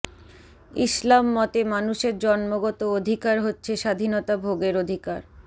ইসলাম মতে মানুষের জন্মগত অধিকার হচ্ছে স্বাধীনতা ভোগের অধিকার